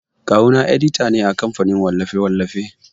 Kawu na edita ne a kamfanin wallafe-wallafe.